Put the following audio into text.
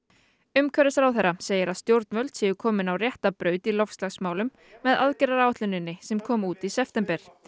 umhverfisráðherra segir að stjórnvöld séu komin á rétta braut í loftslagsmálum með aðgerðaráætluninni sem kom út í september